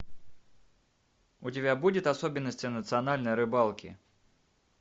у тебя будет особенности национальной рыбалки